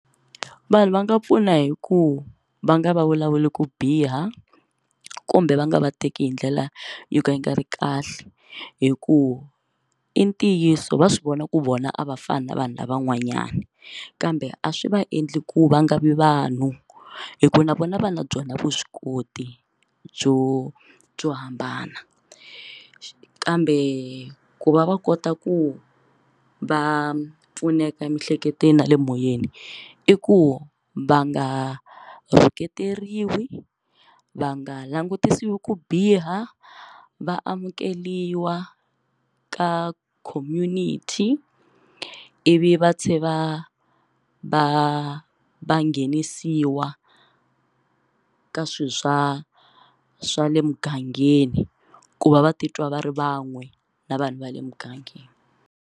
Vanhu va nga pfuna hi ku va nga va vulavuli ku biha kumbe va nga va teki hi ndlela yo ka yi nga ri kahle hikuva i ntiyiso va swi vona ku vona a va fani na vanhu lavan'wanyani kambe a swi va endla ku va nga vi vanhu hikuva na vona va na byona vuswikoti byo byo hambana kambe ku va va kota ku va pfuneka emiehleketweni na le moyeni i ku va nga rhuketeriwa hi va nga langutisiwi ku biha va amukeriwa ka community ivi va tlhe va va va va nghenisiwa ka swilo swa swa le mugangeni ku va va titwa va ri van'we na vanhu va le mugangeni.